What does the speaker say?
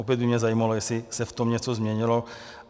Opět by mě zajímalo, jestli se v tom něco změnilo.